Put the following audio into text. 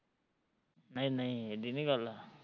ਨਹੀਂ ਨਹੀਂ ਏਡੀ ਨੀ ਗੱਲ